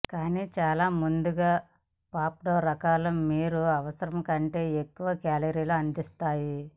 కానీ చాలా ముందుగా పాప్డ్ రకాలు మీరు అవసరం కంటే ఎక్కువ కేలరీలు అందిస్తాయి